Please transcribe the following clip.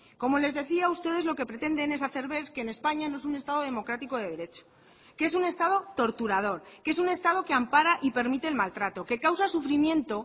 como les decía ustedes lo que pretenden es hacer ver que en españa no es un estado democrático de derecho que es un estado torturador que es un estado que ampara y permite el maltrato que causa sufrimiento